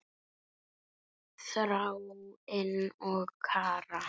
Þráinn og Kara.